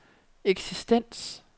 eksistens